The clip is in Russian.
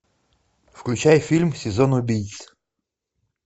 включай фильм сезон убийц